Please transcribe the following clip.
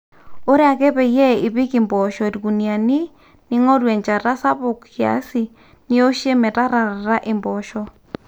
ore ake peyie ipik impoosho irkuniyiani ning'oru enjata sapuk kiasi nioshie metararata impoosho